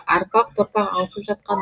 арпақ топақ алысып жатқан